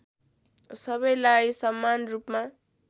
सबैलाई समान रूपमा